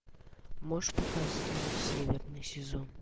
можешь показать северный сезон